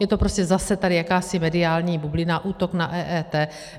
Je to prostě zase tady jakási mediální bublina, útok na EET.